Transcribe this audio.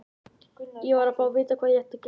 Ég varð að fá að vita hvað ég ætti að gera.